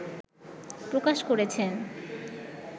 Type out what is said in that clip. প্রকাশ করেছেন